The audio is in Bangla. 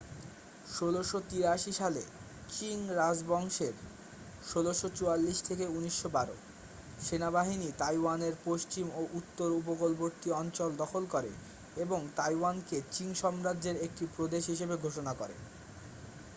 ১৬৮৩ সালে চিং রাজবংশের ১৬৪৪-১৯১২ সেনাবাহিনী তাইওয়ানের পশ্চিম ও উত্তর উপকূলবর্তী অঞ্চল দখল করে এবং তাইওয়ানকে চিং সাম্রাজ্যের একটি প্রদেশ হিসাবে ঘোষণা করে।